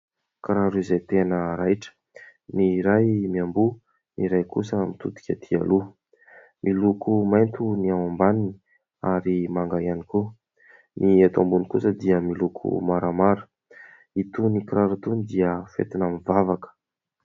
Kiraro izay tena raitra ny iray miamboho ny iray kosa mitodika aty aloha:miloko maitso ny ao ambaniny ary manga ihany koa, ny eto ambony kosa dia miloko maramara; itony kiraro itony dia entina mivavaka.